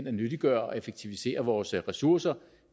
at nyttiggøre og effektivisere vores ressourcer